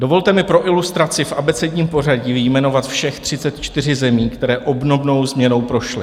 Dovolte mi pro ilustraci v abecedním pořadí vyjmenovat všech 34 zemí, které obdobnou změnou prošly.